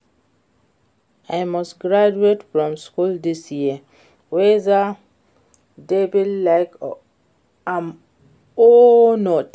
I must graduate from school dis year whether devil like am or not